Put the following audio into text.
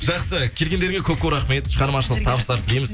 жақсы келгендеріңе көп көп рахмет шығармашылық табыстар тілейміз